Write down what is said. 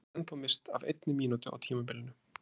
Ég hef ekki ennþá misst af einni mínútu á tímabilinu!